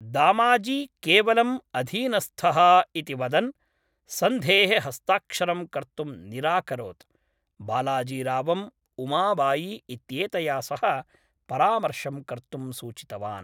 दामाजी केवलं अधीनस्थः इति वदन्, सन्धेः हस्ताक्षरं कर्तुं निराकरोत्, बालाजीरावं उमाबाई इत्येतया सह परामर्शं कर्तुम् सूचितवान्।